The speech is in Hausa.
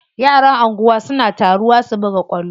Yaran anguwa suna taruwa su buga kwallo.